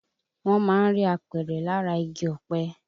Wọ́n má ń rí apẹ̀rẹ̀ lára igi ọ̀pẹ